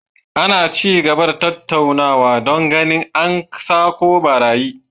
Ana ci gaba da tattaunawa don ganin an sako barayin